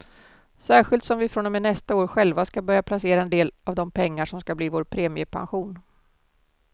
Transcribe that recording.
Särskilt som vi från och med nästa år själva ska börja placera en del av de pengar som ska bli vår premiepension.